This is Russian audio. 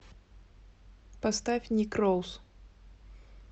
поставь ник роуз